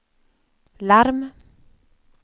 larm